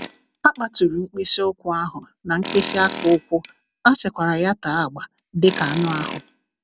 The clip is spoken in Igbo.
A kpaturu mkpịsị ụkwụ ahụ na mkpịsị aka ụkwụ, a sikwara ya ya tee agba dị ka anụ ahụ.